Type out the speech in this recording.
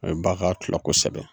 U bɛ baga tulo kosɛbɛ.